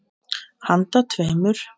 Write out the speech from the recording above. Handa tveimur